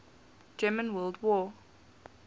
german world war